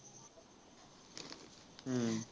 हम्म